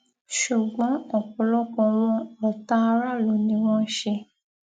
ṣùgbọn ọpọlọpọ wọn ọtá aráàlú ni wọn ń ṣe